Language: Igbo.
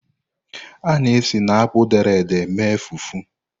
A na-esi na akpụ dere ede mee fufu.